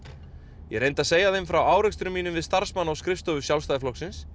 ég reyndi að segja þeim frá árekstrum mínum við starfsmann á skrifstofu Sjálfstæðisflokksins